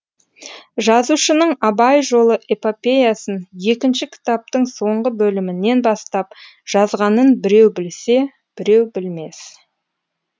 жазушының абай жолы эпопеясын екінші кітаптың соңғы бөлімінен бастап жазғанын біреу білсе біреу білмес